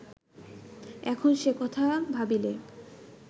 এখন সে কথা ভাবিলে